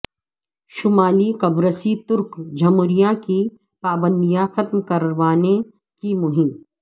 شمالی قبرصی ترک جمہوریہ کی پابندیاں ختم کروانے کی مہم